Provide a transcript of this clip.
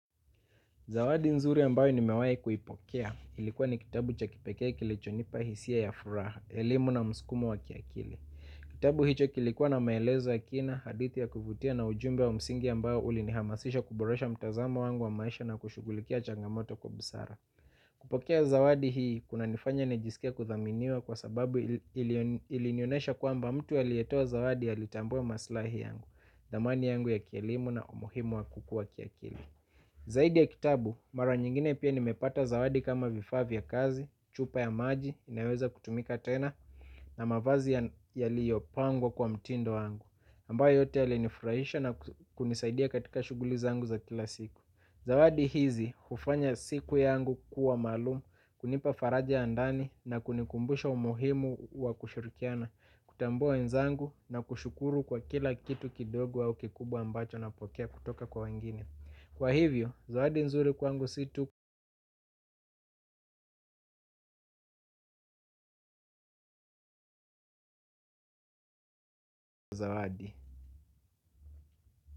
Zawadi nzuri ambayo nimewahi kuipokea, ilikuwa ni kitabu cha kipekee kilichonipa hisia ya furaha, elimu na msukumo wa kiakili. Kitabu hicho kilikuwa na maelezo ya kina, hadithi ya kuvutia na ujumbe wa msingi ambao ulinihamasisha kuboresha mtazamo wangu wa maisha na kushughulikia changamoto kwa busara. Kupokea zawadi hii, kunanifanya nijisikie kuthaminiwa kwa sababu ilinionesha kwamba mtu aliyetoa zawadi alitambua maslahi yangu, dhamani yangu ya kielimu na umuhimu wa kukua kiakili. Zaidi ya kitabu, mara nyingine pia nimepata zawadi kama vifaa vya kazi, chupa ya maji, inaweza kutumika tena, na mavazi yaliyopangwa kwa mtindo wangu. Ambayo yote yalinifurahisha na kunisaidia katika shughuli zangu za kila siku. Zawadi hizi, hufanya siku yangu kuwa maalumu, kunipa faraja ya ndani na kunikumbusha umuhimu wa kushirikiana, kutambua wenzangu na kushukuru kwa kila kitu kidogo au kikubwa ambacho napokea kutoka kwa wengine. Kwa hivyo, zawadi nzuri kwangu si tu zaadi.